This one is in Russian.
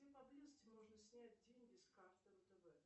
где поблизости можно снять деньги с карты втб